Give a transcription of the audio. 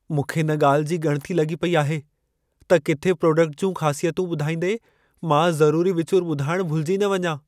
मूंखे इन ॻाल्हि जी ॻणिती लॻी पेई आहे त किथे प्रोडक्ट जूं ख़ासियतूं ॿुधाईंदे मां ज़रूरी विचूर ॿुधाइण भुलिजी न वियां।